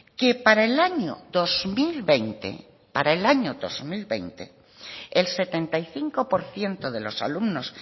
que para el año dos mil veinte para el año dos mil veinte el setenta y cinco por ciento de los alumnos